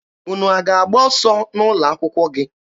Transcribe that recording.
Unu a na-agba ọsọ n'ụlọ akwụkwọ gị?